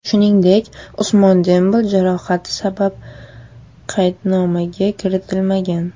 Shuningdek, Usmon Dembele jarohati sabab qaydnomaga kiritilmagan.